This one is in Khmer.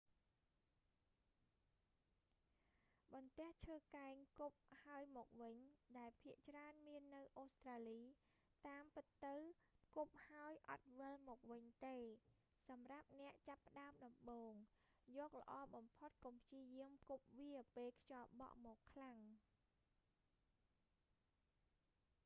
បន្ទះឈើកែងគប់ហើយមកវិញ ដែលភាគច្រើនមាននៅអូស្រ្តាលី តាមពិតទៅ គប់ហើយអត់វិលមកវិញទេ សម្រាប់អ្នកចាប់ផ្តើមដំបូង យកល្អបំផុត កុំព្យាយាមគប់វាពេលខ្យល់បក់មកខ្លាំង